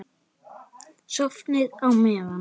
Sofnið á meðan.